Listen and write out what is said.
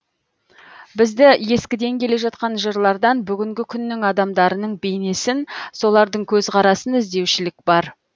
бізді ескіден келе жатқан жырлардан бүгінгі күннің адамдарының бейнесін солардың көзқарасын іздеушілік бар